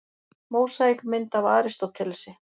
Mósaíkmynd af Aristótelesi.